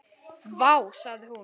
Vá, sagði hún.